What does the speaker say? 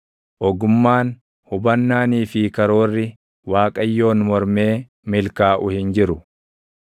Ogummaan, hubannaanii fi karoorri Waaqayyoon mormee milkaaʼuu hin jiru.